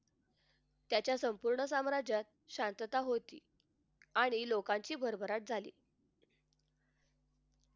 त्याच्या संपूर्ण सामराज्यात शांतता होती आणि लोकांची भरभराट झाली